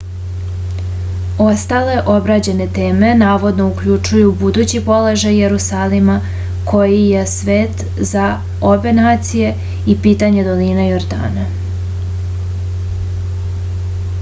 ostale obrađene teme navodno uključuju budući položaj jerusalima koji je svet za obe nacije i pitanje doline jordana